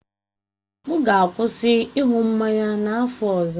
M ga-akwụsị ịṅụ mmanya n'afọ ọzọ.